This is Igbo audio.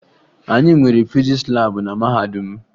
Anyị nwere fizis laabụ na mahadum m